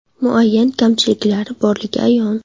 Muayyan kamchiliklar borligi ayon.